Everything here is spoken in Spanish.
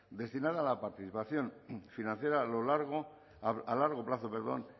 destinada a la participación financiera a lo largo a largo plazo perdón